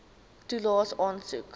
toelaes aansoek